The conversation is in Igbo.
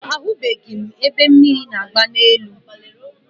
Ahụbeghị m ebe mmiri na-agba n'elu.